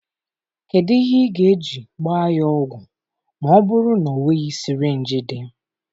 Kedu ihe ị ga-eji gbaa ya ogwụ ma ọ bụrụ na ọ nweghị sịrịnjị dị?